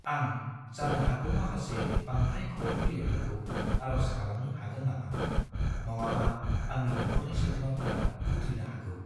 आं जानो हागौ माखासे बांद्राय खौरां बिलाइफोरखौ आर'ज खालामनो हागोन नामा? नङाबा आंनि नखरनि सोद्रोमाफोरा खुद्रिनो हागौ।